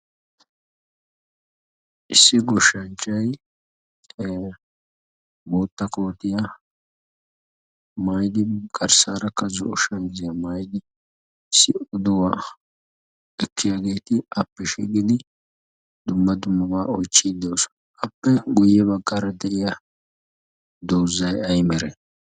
issi goshshanchchay bootta koottiya maayidi garsaarakka zo'o kootiya maayidi diyaagaa oychiidi de'oosona. appe guye bagaara de'iya dozzay ay malee?